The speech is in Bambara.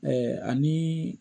anii